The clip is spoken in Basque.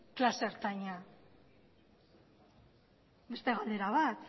klase ertaina beste galdera bat